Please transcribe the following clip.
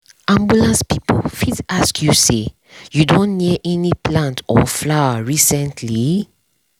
ambulance people fit ask you say “you don near any plant or flower recently?”